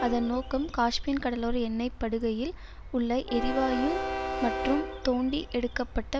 அதன் நோக்கம் காஸ்பின் கடலோர எண்ணெய்ப் படுகையில் உள்ள எரிவாயு மற்றும் தோண்டி எடுக்க பட்ட